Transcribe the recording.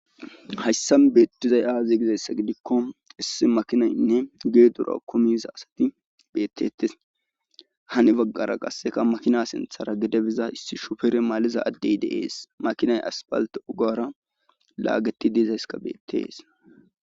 hayssa beettizay aazi gizayssa gidikko issi makinaynne gee dura komiza asati beettettes hani baggara qasseka makina sinthara gedebiza issi shufere maaliza addey deees makinay aspalte ugara laageti diizayska beettees